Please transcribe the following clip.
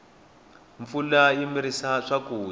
mpfula yi mirisa swakudya